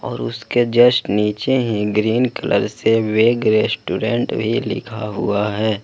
और उसके जस्ट नीचे ही ग्रीन कलर से वेज रेस्टोरेंट भी लिखा हुआ है।